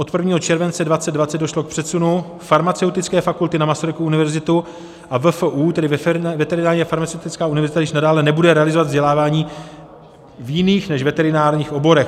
Od 1. července 2020 došlo k přesunu farmaceutické fakulty na Masarykovu univerzitu a VFU, tedy Veterinární a farmaceutická univerzita již nadále nebude realizovat vzdělávání v jiných než veterinárních oborech.